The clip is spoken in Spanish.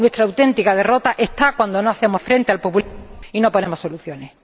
Nuestra auténtica derrota está ahí cuando no hacemos frente al populismo y no ponemos soluciones.